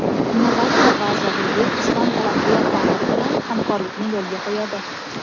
Innovatsiya vazirligi Islom taraqqiyot banki bilan hamkorlikni yo‘lga qo‘yadi.